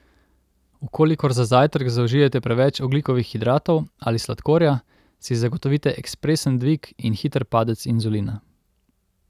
V kolikor za zajtrk zaužijete preveč ogljikovih hidratov ali sladkorja, si zagotovite ekspresen dvig in hiter padec inzulina.